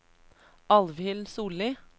Alvhild Sollie